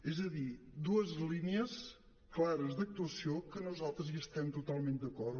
és a dir dues línies clares d’actuació que nosaltres hi estem totalment d’acord